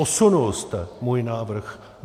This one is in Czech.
Posunul jste můj návrh.